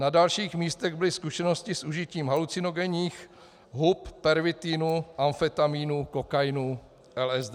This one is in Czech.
Na dalších místech byly zkušenosti s užitím halucinogenních hub, pervitinu, amfetaminu, kokainu, LSD.